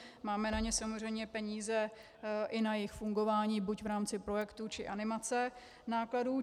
Máme na ně samozřejmě peníze, i na jejich fungování buď v rámci projektů, či animace nákladů.